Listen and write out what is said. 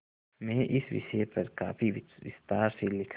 में इस विषय पर काफी विस्तार से लिखा है